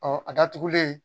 Ɔ a datugulen